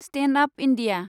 stand up India